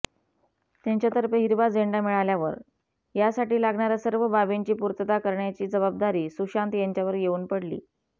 त्यांच्यातर्फे हिरवा झेंडा मिळाल्यावर यासाठी लागणार्या सर्व बाबींची पूर्तता करण्याची जबाबदारी सुशांत यांच्यावर येऊन पडली